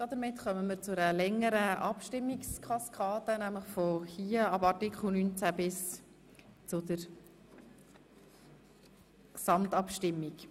Damit kommen wir zu einer längeren Abstimmungskaskade, nämlich ab Artikel 19 bis zur Gesamtabstimmung.